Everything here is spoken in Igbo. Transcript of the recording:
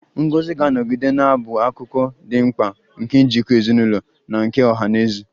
Ngọzi ga-anọgide na-abụ akụkụ dị mkpa nke njikọ ezinụlọ na nke ọha na eze